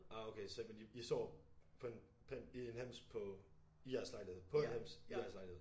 Ah okay så vent lige i sover på en på i en hems på i jeres lejlighed på en hems i jeres lejlighed